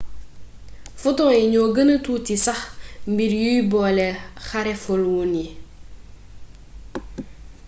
foton yi ñoo gëna tuuti sax mbir yuy boole xarefulwoon yi